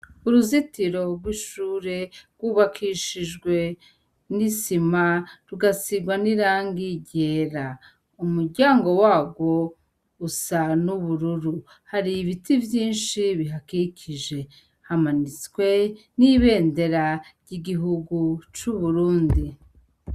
Uruzitiro rw'ishure rw'ubakishijwe n'isima, rugasigwa n'irangi ryera. Umuryango warwo, usa n'ubururu .Hari ibiti vyinshi bihakikije. Hamanitswe n'ibendera ry'igihugu c'Uburundi.